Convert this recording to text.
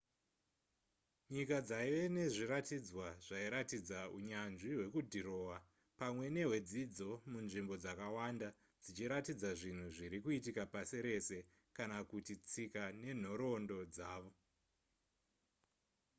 nyika dzaiva nezviratidzwa zvairatidza unyanzvi hwekudhirowa pamwe nehwedzidzo munzvimbo dzakawanda dzichiratidza zvinhu zviri kuitika pasi rese kana kuti tsika nenhoroondo dzavo